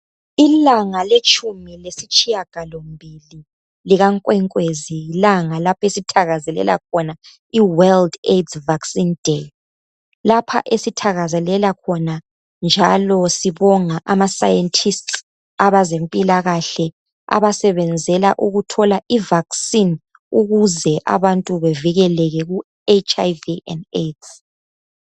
Ilanga letshumi lesitshiyagalombili likaNkwenkwezi lilanga esinanzelela khona i-World AIDS Vaccine Day lapha esithakazelela khona njalo sibonga ama scientist abezempilakahle abasebenzela ukuthola I vaccine ukuze abantu bevikeleke kiHIV and AIDS.